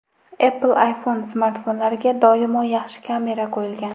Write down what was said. Apple iPhone smartfonlariga doimo yaxshi kamera qo‘yilgan.